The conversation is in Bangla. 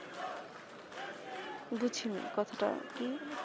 বুঝি নাই কথাটা কি